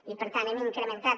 i per tant hem incrementat